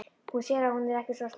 Hún sér að hún er ekki svo slæm.